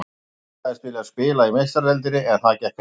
Ég sagðist vilja spila í Meistaradeildinni en það gekk ekki.